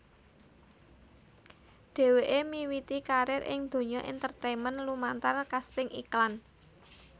Dheweké miwiti karir ing donya entertainment lumantar kasting iklan